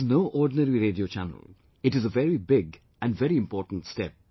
But this is no ordinary Radio Channel, it is a very big and very important step